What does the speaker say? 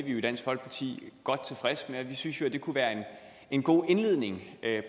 vi jo i dansk folkeparti godt tilfredse med vi synes det kunne være en god indledning